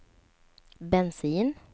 bensin